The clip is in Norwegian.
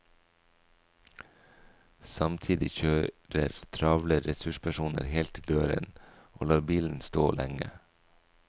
Samtidig kjører travle ressurspersoner helt til døren og lar bilen stå lenge.